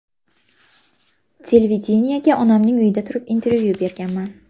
Televideniyega onamning uyida turib, intervyu berganman.